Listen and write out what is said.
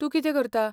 तूं कितें करता ?